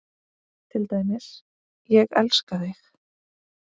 Til dæmis: Ég elska þig.